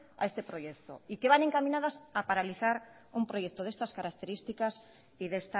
a este proyecto y que van encaminadas a paralizar un proyecto de estas características y de